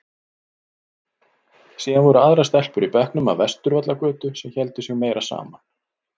Síðan voru aðrar stelpur í bekknum af Vesturvallagötu sem héldu sig meira saman.